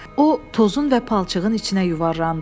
O tozun və palçığın içinə yuvarlandı.